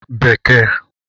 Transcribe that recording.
s